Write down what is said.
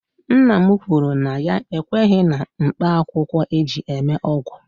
Nna m kwuru na ya ekweghi na mkpaakwụkwọ eji eme ọgwụ